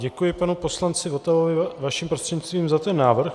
Děkuji panu poslanci Votavovi vaším prostřednictvím za ten návrh.